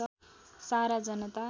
सारा जनता